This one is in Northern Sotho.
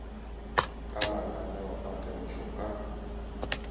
ka mananeo a temošo ka